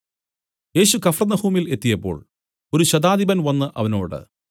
യേശു കഫർന്നഹൂമിൽ എത്തിയപ്പോൾ ഒരു ശതാധിപൻ വന്നു അവനോട്